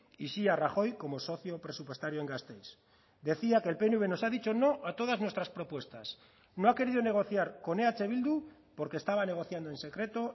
y sí a rajoy como socio presupuestario en gasteiz decía que el pnv nos ha dicho no a todas nuestras propuestas no ha querido negociar con eh bildu porque estaba negociando en secreto